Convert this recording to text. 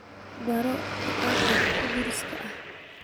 Baro Kitaabka Qudduuska ah